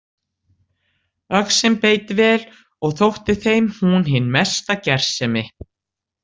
Öxin beit vel og þótti þeim hún hin mesta gersemi.